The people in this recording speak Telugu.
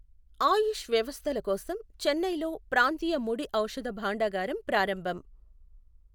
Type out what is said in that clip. ఆయుష్ వ్యవస్థలకోసం చెన్నైలో ప్రాంతీయ ముడిఔషధ భాండాగారం ప్రారంభం.